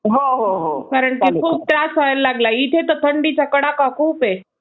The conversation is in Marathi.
कारण की खूप त्रास व्हायला लागला. इथं तर थन्डीचा कडाका खूप आहे.